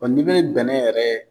Ɔn ni be bɛnɛn yɛrɛ